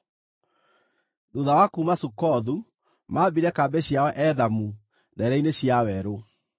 Thuutha wa kuuma Sukothu maambire kambĩ ciao Ethamu ndeere-inĩ cia werũ.